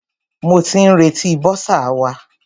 Mo ti ń retí bọ́sà wa.